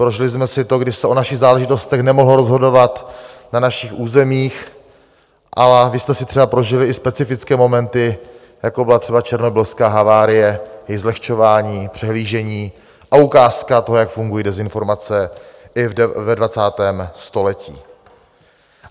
Prožili jsme si to, když se o našich záležitostech nemohlo rozhodovat na našich územích, a vy jste si třeba prožili i specifické momenty, jako byla třeba černobylská havárie, její zlehčování, přehlížení a ukázka toho, jak fungují dezinformace i ve 20. století.